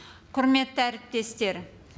құрметті әріптестер